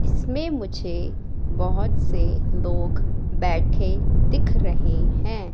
इसमें मुझे बहोत से लोग बैठे दिख रहे हैं।